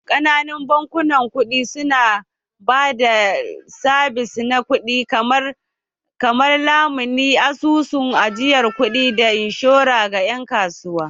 Ƙananan bankunan kuɗi su na ba da sabis na kuɗi kamar lamuni, asusun ajiyar kuɗi, da inshora ga ƴan kasuwa